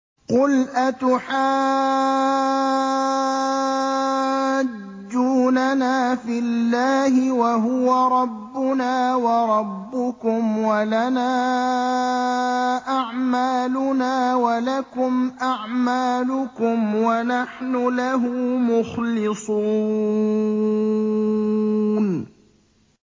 قُلْ أَتُحَاجُّونَنَا فِي اللَّهِ وَهُوَ رَبُّنَا وَرَبُّكُمْ وَلَنَا أَعْمَالُنَا وَلَكُمْ أَعْمَالُكُمْ وَنَحْنُ لَهُ مُخْلِصُونَ